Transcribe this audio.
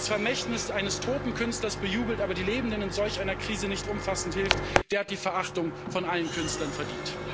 Wer das Vermächtnis eines toten Künstlers bejubelt, aber den Lebenden in solch einer Krise nicht umfassend hilft, der hat die Verachtung aller Künstler verdient.